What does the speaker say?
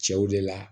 Cɛw de la